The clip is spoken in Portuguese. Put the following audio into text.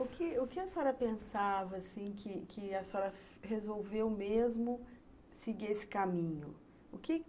O que o que a senhora pensava, assim, que que a senhora resolveu mesmo seguir esse caminho? O que